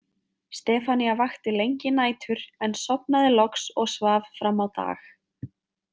Stefanía vakti lengi nætur en sofnaði loks og svaf fram á dag.